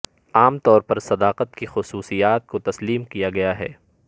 عام طور پر صداقت کی خصوصیات کو تسلیم کیا گیا ہے